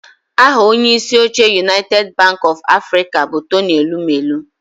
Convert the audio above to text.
Aha onyeisi oche Unaited banki ọf Afrịka bụ Tony Elumelu